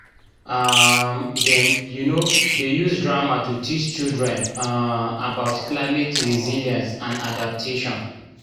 um dem um dey use drama to teach children um about climate resilience and adaptation